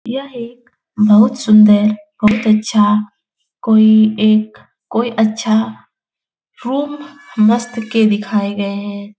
यह एक बहुत सुन्दर बहुत अच्छा कोई एक कोई अच्छा रूम मस्त के दिखाए गए हैं ।